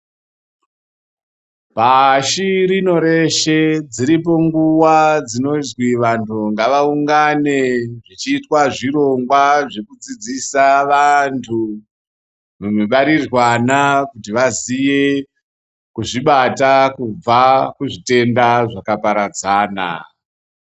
Pashi rino reshe dziripo nguwa dzinozi vanhu ngavabude chirongwa chekudzidzisa vantu mubariranwa Kuti vazive kuzvibata kubva kuzvitenda zvakaparadzana.